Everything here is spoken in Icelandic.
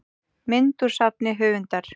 mynd úr safni höfundar